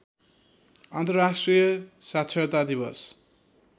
अन्तर्राष्ट्रिय साक्षरता दिवस